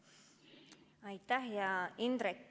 Aitäh!